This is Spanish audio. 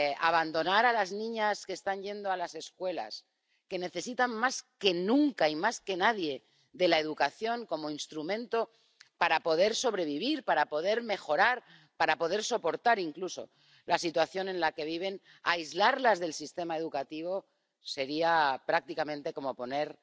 Abandonar a las niñas que están yendo a las escuelas, que necesitan, más que nunca y más que nadie, de la educación como instrumento para poder sobrevivir, para poder mejorar, para poder soportar incluso la situación en la que viven, aislarlas del sistema educativo, sería prácticamente como poner